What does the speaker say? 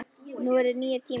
Nú eru nýir tímar.